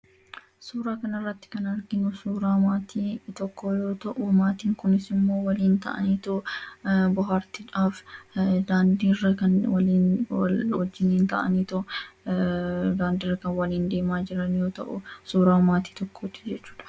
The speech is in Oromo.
Suura kana irratti kan arginu suura maatii tokkoo yoo ta'u maatiin kunis waliin ta'anii daawwannaadhaaf daandiirra kan waliin deemaa jiran yoo ta'u suura maatii tokkooti jechuudha.